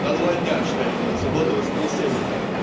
на два дня считай вот в субботу воскресенье